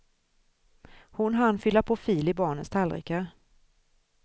Hon hann fylla på fil i barnens tallrikar.